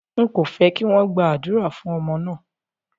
Ń kò fẹ́ kí wọn gba àdúrà fún ọmọ náà